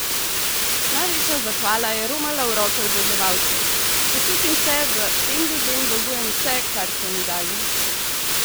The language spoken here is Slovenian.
Največja zahvala je romala v roke oboževalcev: "Počutim se, da tem ljudem dolgujem vse, kar so mi dali ...